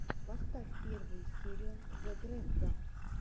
поставь первую серию зе грефга